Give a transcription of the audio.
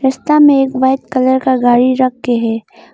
उसका में एक व्हाइट कलर का गाड़ी रख के है।